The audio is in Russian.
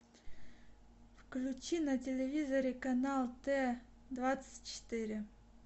включи на телевизоре канал т двадцать четыре